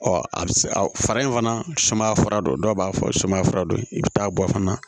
a bɛ se fara in fana sumaya fura dɔ ye dɔw b'a fɔ sumaya fura dɔ yir'i bɛ taa bɔ fana